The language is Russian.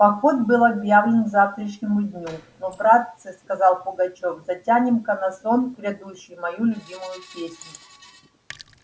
поход был объявлен к завтрашнему дню ну братцы сказал пугачёв затянем-ка на сон грядущий мою любимую песенку